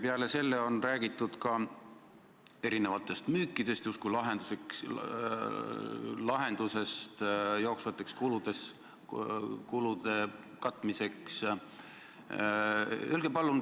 Peale selle on räägitud ka mitmetest müükidest justkui lahendusest, et jooksvaid kulusid katta.